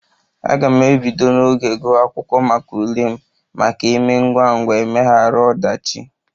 A ga m ebido n'oge guwa akwụkwọ maka ule m maka emee ngwangwa emeghara odachi